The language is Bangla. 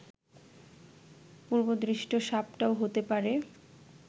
পূর্বদৃষ্ট সাপটাও হতে পারে